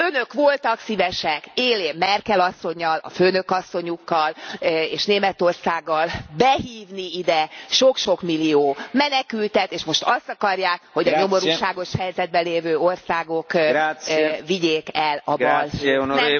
Önök voltak szívesek, élén Merkel asszonnyal, a főnökasszonyukkal és Németországgal behívni ide sok sok millió menekültet, és most azt akarják, hogy a nyomorúságos helyzetben lévő országok vigyék el a balhét.